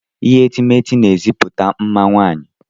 Ihe etemeete n'ezipụta mma nwaanyị.